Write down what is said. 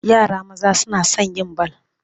Yara maza suna son yin bal.